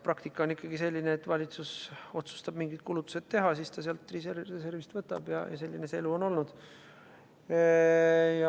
Praktika on ikkagi selline, et kui valitsus otsustab mingid kulutused teha, siis ta sealt reservist võtab ja selline see elu on olnud.